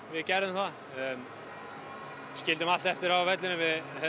við gerðum það við skildum allt eftir á vellinum